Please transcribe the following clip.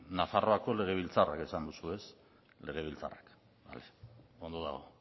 nafarroako legebiltzarra esan duzu ez legebiltzarra ondo dago